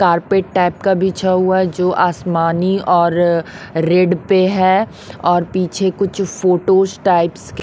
carpet type का बिछा हुआ जो आसमानी और रेड पे है और पीछे कुछ फोटोस टाइप्स के--